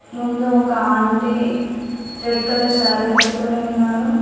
ముందు ఒక aunty red colour sari కట్టుకుని ఉన్నారు.